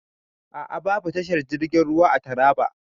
A a.babu tashar jirgin ruwa a Taraba.